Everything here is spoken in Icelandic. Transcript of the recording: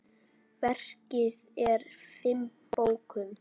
Verkið er í fimm bókum.